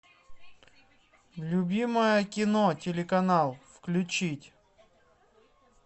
любимое кино телеканал включить